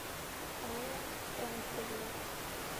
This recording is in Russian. алла францевна